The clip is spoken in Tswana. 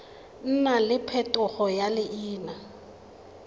nna le phetogo ya leina